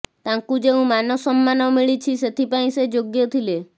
ତାଙ୍କୁ ଯେଉଁ ମାନସମ୍ମାନ ମଳିଛି ସେଥିପାଇଁ ସେ ଯୋଗ୍ୟ ଥିଲେ